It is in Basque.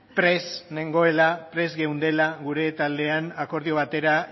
prest geundela gure taldean akordio batera